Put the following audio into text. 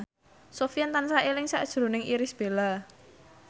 Sofyan tansah eling sakjroning Irish Bella